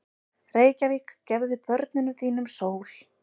Reykjavík, gefðu börnum þínum sól!